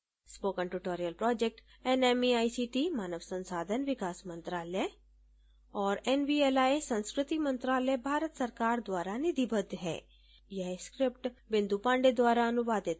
spoken tutorial project nmeict मानव संसाधन विकास मंत्रायल और nvli संस्कृति मंत्रालय भारत सरकार द्वारा निधिबद्ध है